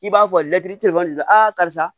I b'a fɔ lɛtiri tefɔni di karisa